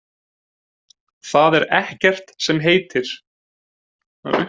Það er ekkert sem heitir!